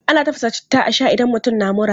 Ana tafasa citta a shaa idan mutum na mura.